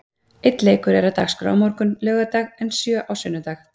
Einn leikur er á dagskrá á morgun, laugardag en sjö á sunnudag.